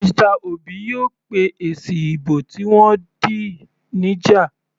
Mr Obi yóò pé èsì ìbò tí wọ́n dì níjà.